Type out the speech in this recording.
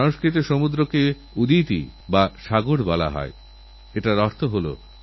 জনসাধারণের অংশগ্রহণেকীরকম পরিবর্তন আনা যায় এটা তারই উদাহরণ